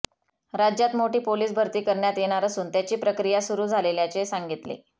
राज्यात मोठी पोलीस भरती करण्यात येणार असून त्याची प्रक्रिया सुरु झालेल्याचे सांगितले